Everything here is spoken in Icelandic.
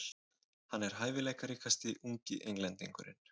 Hann er hæfileikaríkasti ungi Englendingurinn.